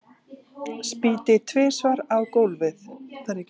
Spýti tvisvar á gólfið.